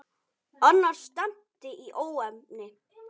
Annars stefndi í óefni.